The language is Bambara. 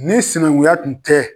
Ni sinankunya kun tɛ